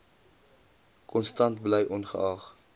konstant bly ongeag